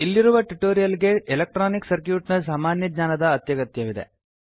ಇಲ್ಲಿರುವ ಟ್ಯುಟೋರಿಯಲ್ ಗೆ electronic circuit ನ ಸಾಮಾನ್ಯ ಜ್ಞಾನದ ಅತ್ಯಗತ್ಯವಿದೆ